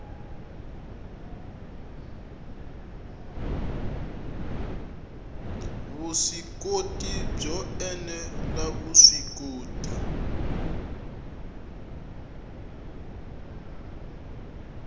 vuswikoti byo ene la vuswikoti